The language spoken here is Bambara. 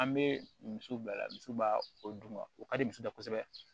An bɛ misi bila misi ba o dun ma o ka di misiw da kosɛbɛ